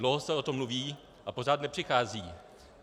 Dlouho se o tom mluví, a pořád nepřichází.